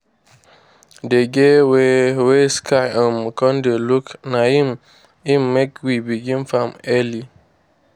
dey get way wey sky um con dey look na im im make we begin farm early.